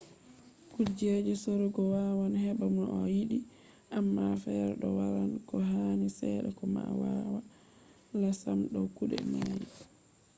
kujeji sorugo wawan heɓa no a yiɗi amma fere ɗo maran ko hani seɗɗa ko ma wala sam do kuɗe mai